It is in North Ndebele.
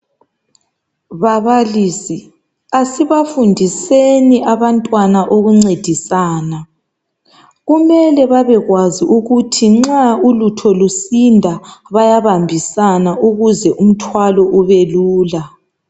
Babalisi, asibafundiseni abantwana ukuncedisana. Kumele babekwazi ukuthi nxa ulutho lusinda bayabambisana ukuze umthwalo ubelula.